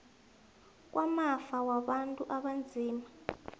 kwamafa wabantu abanzima